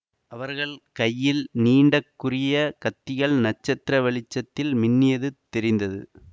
அவர்கள் கையில் நீண்ட கூரிய கத்திகள் நட்சத்திர வெளிச்சத்தில் மின்னியது தெரிந்தது